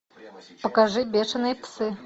покажи бешеные псы